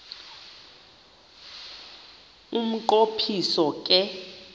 umnqo phiso ke